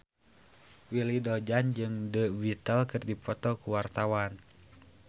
Willy Dozan jeung The Beatles keur dipoto ku wartawan